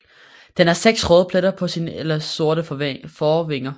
Den har seks røde pletter på sine ellers sorte forvinger